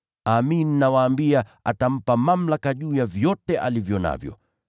Amin nawaambia, atamweka mtumishi huyo kuwa msimamizi wa mali yake yote.